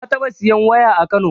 Na taɓa siyan waya a kano